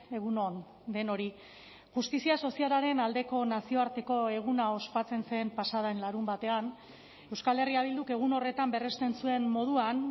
egun on denoi justizia sozialaren aldeko nazioarteko eguna ospatzen zen pasa den larunbatean euskal herria bilduk egun horretan berresten zuen moduan